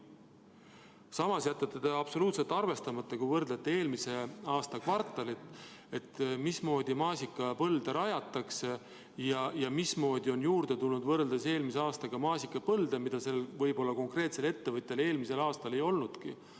Samas jätate te arvestamata, mismoodi maasikapõlde rajatakse ja mismoodi on eelmise aastaga võrreldes juurde tulnud maasikapõlde, mida konkreetsel ettevõtjal võib-olla eelmisel aastal ei olnudki.